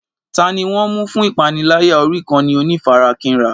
Ta ni wọ́n ń mú fún ìpániláyà orí ìkànnì onífarakínra?